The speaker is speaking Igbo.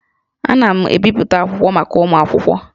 Ana m ebipụta akwụkwọ maka ụmụ akwụkwọ